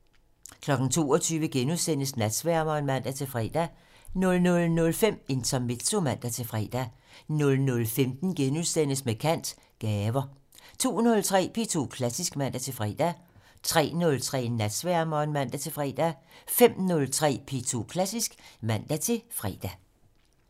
22:00: Natsværmeren *(man-fre) 00:05: Intermezzo (man-fre) 00:15: Med kant - Gaver * 02:03: P2 Klassisk (man-fre) 03:03: Natsværmeren (man-fre) 05:03: P2 Klassisk (man-fre)